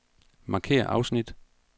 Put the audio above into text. Markér afsnit.